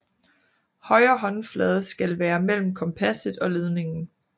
Højre håndflade skal være mellem kompasset og ledningen